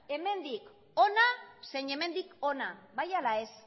hemendik hona zein hemendik hona bai ala ez